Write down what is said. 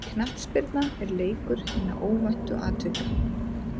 Knattspyrna er leikur hinna óvæntu atvika.